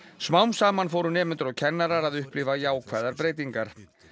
smám saman fóru nemendur og kennarar að upplifa jákvæðar breytingar